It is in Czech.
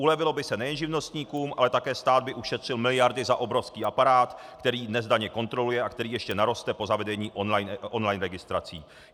Ulevilo by se nejen živnostníkům, ale také stát by ušetřil miliardy za obrovský aparát, který dnes daně kontroluje a který ještě naroste po zavedení online registrací.